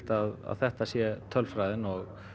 að þetta sé tölfræðin og